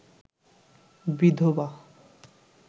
বিধবা